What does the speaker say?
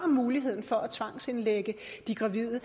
muligheden for at tvangsindlægge de gravide og